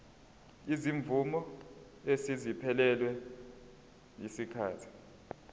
izimvume eseziphelelwe yisikhathi